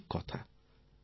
এটা ঠিক কথা